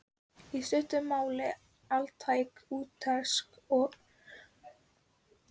í stuttu máli altæk úttekt á hugarheimi fólksins.